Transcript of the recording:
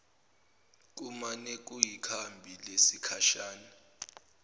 kumane kuyikhambi lesikhashana